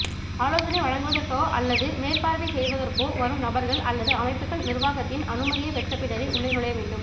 ஆலோசனை வழங்குவதற்கோ அல்லது மேற்பார்வைசெய்வதற்கோ வரும் நபர்கள் அல்லது அமைப்புக்கள் நிர்வாகத்தின் அனுமதியைப் பெற்றபின்னரே உள்ளே நுழைய வேண்டும்